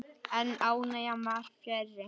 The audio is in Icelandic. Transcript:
En ánægjan var fjarri.